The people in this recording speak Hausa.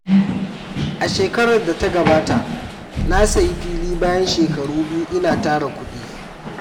A shekarar da ta gabata, na sayi fili bayan shekaru biyu ina tara kuɗi.